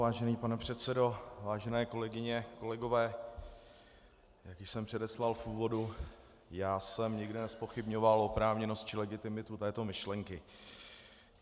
Vážený pane předsedo, vážené kolegyně, kolegové, jak již jsem předeslal v úvodu, já jsem nikdy nezpochybňoval oprávněnost či legitimitu této myšlenky.